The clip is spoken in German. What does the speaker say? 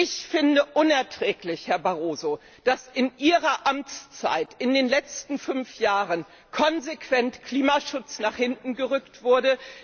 Ich finde es unerträglich, Herr Barroso, dass in Ihrer Amtszeit in den letzten fünf Jahren konsequent Klimaschutz nach hinten gerückt wurde.